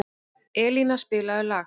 Elíana, spilaðu lag.